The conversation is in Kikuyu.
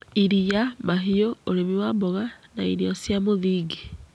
iria, mahiũ, ũrĩmi wa mboga, na irio cia mũthingi.